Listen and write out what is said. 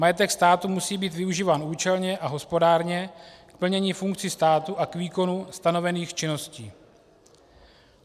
Majetek státu musí být využíván účelně a hospodárně, k plnění funkcí státu a k výkonu stanovených činností.